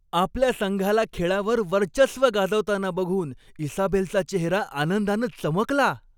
आपल्या संघाला खेळावर वर्चस्व गाजवताना बघून इसाबेलचा चेहरा आनंदानं चमकला.